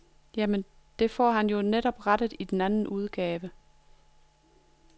Jamen, det får han jo netop rettet i anden udgaven.